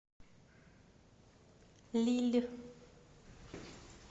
лилль